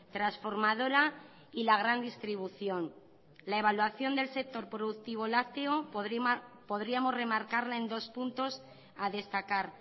transformadora y la gran distribución la evaluación del sector productivo lácteo podríamos remarcarla en dos puntos a destacar